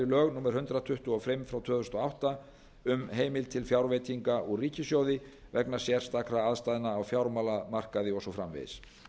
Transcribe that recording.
lög númer hundrað tuttugu og fimm tvö þúsund og átta um heimild til fjárveitinga úr ríkissjóði vegna sérstakra aðstæðna á fjármálamarkaði og svo framvegis